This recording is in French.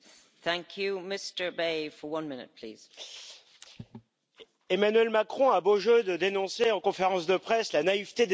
Madame la Présidente, Emmanuel Macron a beau jeu de dénoncer en conférence de presse la naïveté des Européens en matière commerciale.